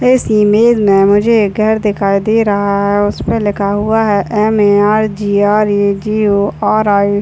इस इमेज में मुझे घर दिखाई दे रहा है उस पे लिखा हुआ है M A R G R A G O R I --